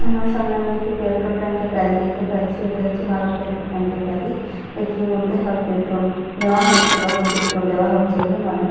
আমার সামনে আমি একটি পেট্রোল ট্যাঙ্ক এর গাড়ি দেখতে পাচ্ছি। এটা হচ্ছে ভারত পেট্রোল ট্যাঙ্ক এর গাড়ি। এটির মধ্যে হয় পেট্রোল নেওয়া হচ্ছে বা পেট্রোল দেওয়া হচ্ছে বলে মনে হচ্--